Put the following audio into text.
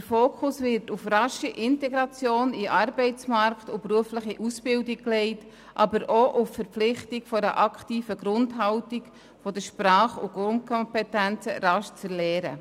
Der Fokus wird auf die rasche Integration in den Arbeitsmarkt und die berufliche Ausbildung gelegt, aber auch auf die Verpflichtung zu einer aktiven Grundhaltung, um die Sprach- und Grundkompetenzen rasch zu erwerben.